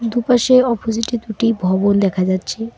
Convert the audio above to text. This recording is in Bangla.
দুপাশে অপজিটে দুটি ভবন দেখা যাচ্ছে।